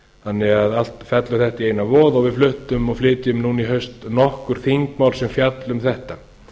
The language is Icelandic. þannig að allt fellur þetta í eina voð við fluttum og flytjum núna í haust nokkur þingmál sem fjalla um þetta